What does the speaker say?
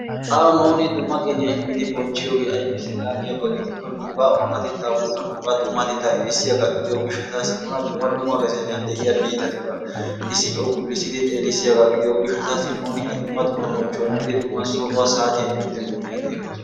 Awu nuun dumma qeniyaa immid bonchchiyooge aybbise yaagiyaba gidiko nuuna oonatetta woykko nuuga dummatetta erissiyaaga gidiyo gishshatassi nuna dumma lumma gaziyan de'iya biittatuura issippe ukkulissidi xeellissiyaaga gidiyo gishshatassi nuuni a dumma dumma bonchchuwa immidi, dumma sohuwa saatiyaa immidi a xeellos.